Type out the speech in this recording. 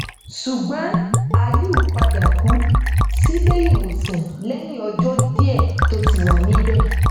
ṣùgbọn aliu padà kú síléìwòsàn lẹyìn ọjọ díẹ tó ti wà níbẹ